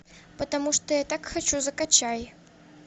потому что я так хочу закачай